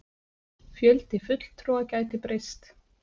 Fjöldi fulltrúa gæti breyst